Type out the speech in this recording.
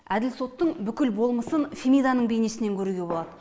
әділ соттың бүкіл болмысын фемиданың бейнесінен көруге болады